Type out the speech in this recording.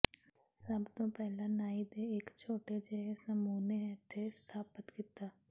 ਸਭ ਤੋਂ ਪਹਿਲਾਂ ਨਾਈ ਦੇ ਇਕ ਛੋਟੇ ਜਿਹੇ ਸਮੂਹ ਨੇ ਇੱਥੇ ਸਥਾਪਤ ਕੀਤਾ